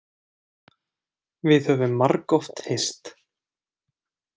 Við höfum margoft hist.